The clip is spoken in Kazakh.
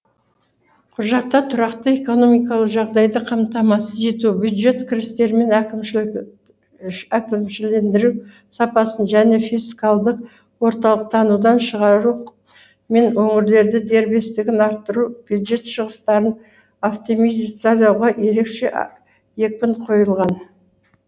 құжатта тұрақты экономикалық жағдайды қамтамасыз ету бюджет кірістері мен әкімшілендіру сапасын және фискалдық орталықтанудан шығару мен өңірлердің дербестігін арттыру бюджет шығыстарын оптимизациялауға ерекше екпін қойылған